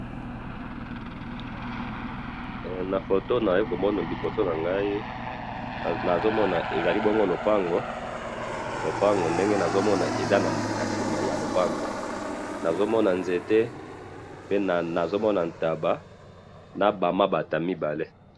Na photo nazo komono liboso na Ngai, nazomona, ezali bongo lopango, lopango ndenge nazomona eza na sima ya lopango. Nazomona nzete pe nazo Mona ntaba, na ba mabata mibale.